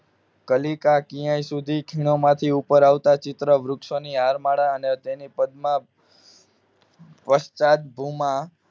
કલિકા ક્યાં સુધી ખીણોમાંથી ઉપર આવતા ચિત્રો વૃક્ષોની હારમાળા ને તેની પદમાં વસતા ભૂમા